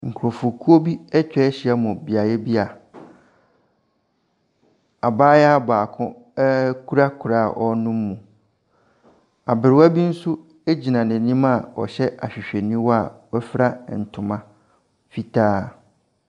Nkurɔfokuo bi atwa ahyiam wɔ beaeɛ bi a abayewa baako kura koraa a ɔrenom mu. Aberewa bi nso gyina n'anim a ɔhyɛ ahwehwɛniwa a wafura ntoma fitaa.